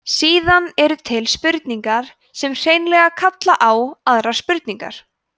síðan eru til spurningar sem hreinlega kalla á aðrar spurningar